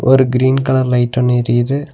ஒரு green colour light ஒன்னு எரியுது.